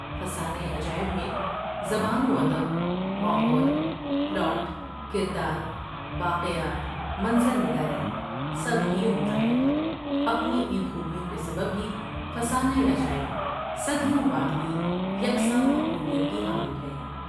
فسانہ عجائب '' میں زبان وادب ماحول ، پلاٹ ، کردار ، واقعات ، منظر نگاری سب ہی عمدہ ہیں اپنی ان خوبیوں کے سبب ہی''فسانۂ عجائب '' صدیوں بعد بھی یکساں مقبولیت کی حامل ہے ۔